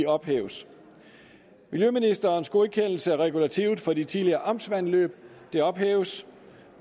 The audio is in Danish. ophæves miljøministerens godkendelse af regulativet for de tidligere amtsvandløb ophæves